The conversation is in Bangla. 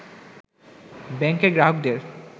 ব্যাংকের গ্রাহকদের